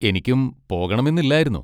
എനിക്കും പോകണമെന്ന് ഇല്ലായിരുന്നു.